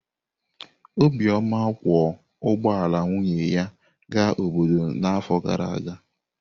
Obioma kwọ ụgbọ ala nwunye ya gaa obodo n’afọ gara aga.